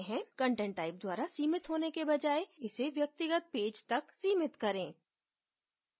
content type द्वारा सीमित होने के बजाय इसे व्यक्तिगत पेज तक सीमति करें